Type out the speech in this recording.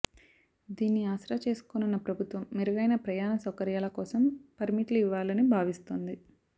దీన్ని ఆసరా చేసుకోనున్న ప్రభుత్వం మెరుగైన ప్రయాణ సౌకర్యాల కోసం పర్మిట్లు ఇవ్వాలని భావిస్తోంది